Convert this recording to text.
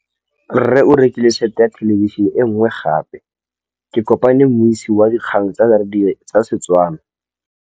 Rre o rekile sete ya thêlêbišênê e nngwe gape. Ke kopane mmuisi w dikgang tsa radio tsa Setswana.